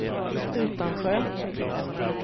Utansjö